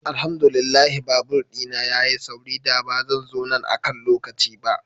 Alhamdu lillah babur dina ya yi sauri, da ba zan zo nan akan lokaci ba.